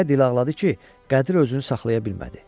Elə dil ağladı ki, Qədir özünü saxlaya bilmədi.